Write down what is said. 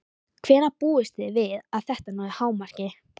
Hvenær búist þið við að þetta nái hámarki?